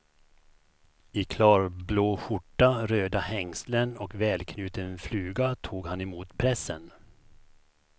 I klarblå skjorta, röda hängslen och välknuten fluga tog han emot pressen.